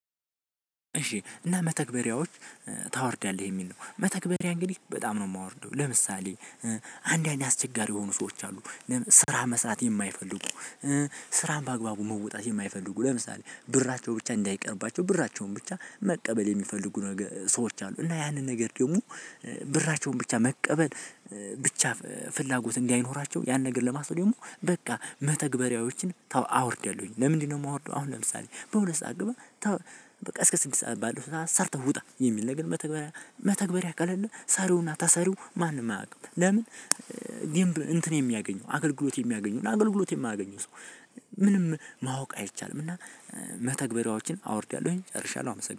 እሺ እና መተግበሪያዎች ታወርዳለህ የሚል ነው መተግበሪያ እንግዲህ በጣም ነው የማወርደው ለምሳሌ አንድ አንድ አስቸጋሪ የሆኑ ሰዎች አሉ ስራ መስራት የማይፈልጉ። ስራን በአግባቡ መውጣት የማይፈልጉ ለምሳሌ ብራቸው ብቻ እንዳይቀርባቸው ብራቸውን ብቻ መቀበል የሚፈልጉ ነገር ሰዎች አሉ። እና ያንን ነገር ደግሞ ብራቸውን ብቻ መቀበል ብቻ ፍላጎት እንዲያይኖራቸው ያን ነገር ለማስበው ደግሞ በቃ መተግበሪያዎችን ተው አውርደለሁኝ። ለምንድነው የማወርደው? አሁን ለምሳሌ በሁለት ሰዓት ግባ ተው በቃ እስከ ስድስት ሰዓት ባለው ሰርተው ውጣ የሚል ነገር። መተግበሪያ መተግበሪያ አያውቅም ሰሩና ታሰሩ ማንም አያውቅም ለምን? እንትን የሚያገኘው አገልግሎት የሚያገኘው አገልግሎት የማያገኘው ሰው። ምንም ማወቅ አይቻልም። እና መተግበሪያዎችን አወርድያለሁኝ ጨርሻለሁ አመሰግናለሁ።